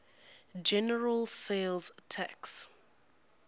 general sales tax